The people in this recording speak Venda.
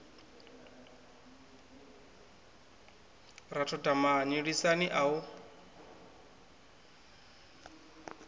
ra thotha mani lisani au